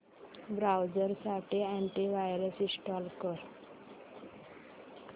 browser साठी anti virus install कर